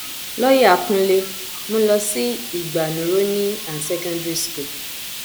ṣùgbọn ibiyinka ọlọrunníḿbẹ olóṣèlú N-C-N-C míín ní láéláé èkó kò ní í sí lábẹ west